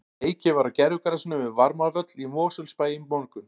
Leikið var á gervigrasinu við Varmárvöll í Mosfellsbæ í morgun.